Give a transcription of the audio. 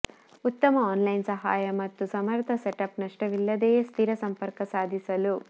ಉತ್ತಮ ಆನ್ಲೈನ್ ಸಹಾಯ ಮತ್ತು ಸಮರ್ಥ ಸೆಟಪ್ ನಷ್ಟವಿಲ್ಲದೆಯೇ ಸ್ಥಿರ ಸಂಪರ್ಕ ಸಾಧಿಸಲು